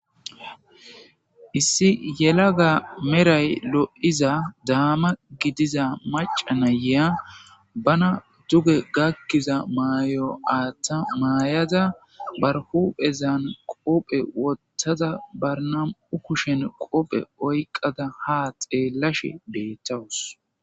issi yelaga meray lo7iza daama gidiza macanayea bana duge gakkiza mayo aaththa maayada barhuphezan qoophe wottaza barnam7u kushen qoophe oyqada ha xeellashe beettawus